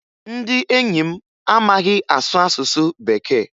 Ndị enyi m amaghị asụ asụsụ Bekee